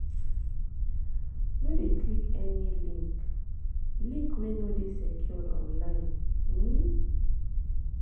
No de click any link link wey no de secured online